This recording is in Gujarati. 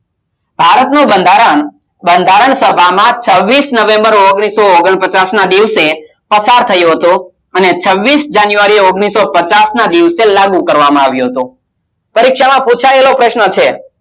ભારતનું બંધારણ બંધારણ સભામાં છવીસ november ઓગણીસો ઓગણ પચાસ ના દિવસે પસાર થયો હતો અને છવીસ january ઓગણીસો પચાસ ના દિવસે લાગુ કરવામાં આવ્યો હતો પરીક્ષામાં પુછાયેલો પ્રશ્ન છે